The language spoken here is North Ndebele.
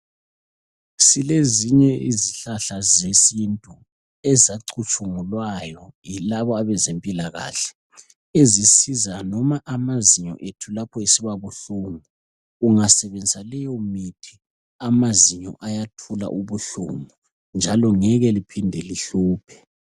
Silezinye izihlahla zesintu ezacutshungulwayo yilabo abezempilakahle ezisiza noma amazinyo ethu lapho esiba buhlungu. Ungasebenzisa leyo mithi amazinyo ayathula ubuhlungu njalo ngeke liphinde lihluphe.